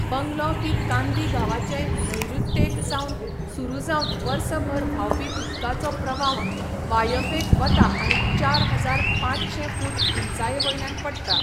Bungalow की कांदी गांवाचे नैऋत्येक सावन सुरू जावन वर्सभर व्हांवपी उदकाचो प्रवाह, वायव्येक वता आनी चार हजार पांचशे फूट उंचाये वयल्यान पडटा.